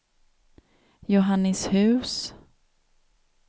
Johannishus